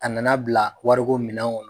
A nana bila wariko minɛn kɔnɔ